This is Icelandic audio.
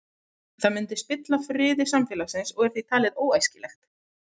Það myndi spilla friði samfélagsins og er því talið óæskilegt.